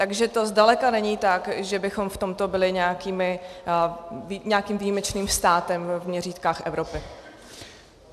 Takže to zdaleka není tak, že bychom v tomto byli nějakým výjimečným státem v měřítkách Evropy.